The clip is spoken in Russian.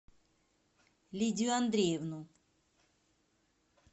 лидию андреевну